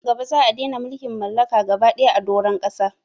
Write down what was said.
Nan gaba za'a dena mulkin mallaka gaba daya a doron ƙasa